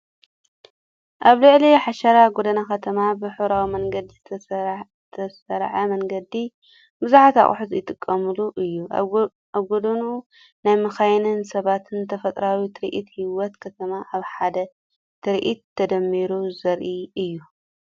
ኣብ ልዕሊ ሓሸራ ጎደና ከተማ ብሕብራዊ መንገዲ ዝተሰርዐ መንገዲ፡ ብዙሓት ኣቑሑት ዝተቐመጠሉ እዩ። ኣብ ጎድኑ ናይ መካይንን ሰባትን ተፈጥሮኣዊ ትርኢት፡ ህይወት ከተማ ኣብ ሓደ ትርኢት ተደሚሩ ዘርኢ እዩ።